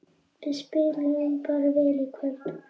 Við spiluðum bara vel í kvöld